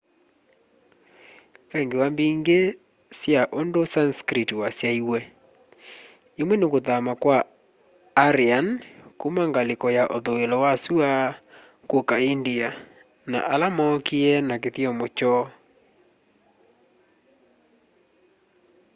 ve ngewa mbingi sya undu sanskrit wasyaiwe imwe ni kuthama kwa aryan kuma ngaliko ya uthuilo wa sua kuka india na ala mookie na kithyomo kyoo